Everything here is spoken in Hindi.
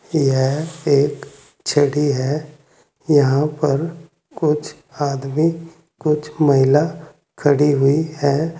यह एक छड़ी है यहां पर कुछ आदमी कुछ महिला खड़ी हुई है।